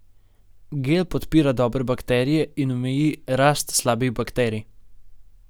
Gel podpira dobre bakterije in omeji rast slabih bakterij.